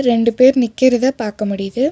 ரெண்டு பேரு நிக்கறத பாக்க முடியுது.